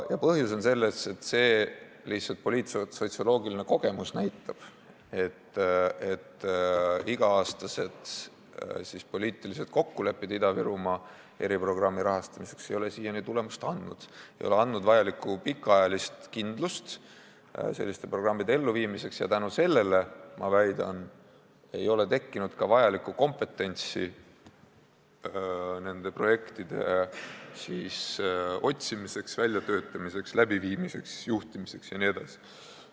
Põhjus on selles, et lihtsalt poliitsotsioloogiline kogemus näitab, et iga-aastased poliitilised kokkulepped Ida-Virumaa eriprogrammi rahastamiseks ei ole siiani tulemust andnud, ei ole andnud vajalikku pikaajalist kindlust selliste programmide elluviimiseks ja seetõttu, ma väidan, ei ole tekkinud ka kompetentsi nende projektide otsimiseks, väljatöötamiseks, läbiviimiseks, juhtimiseks jne.